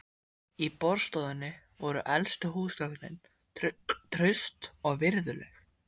Í borðstofunni voru elstu húsgögnin, traust og virðuleg.